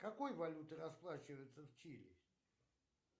какой валютой расплачиваются в чили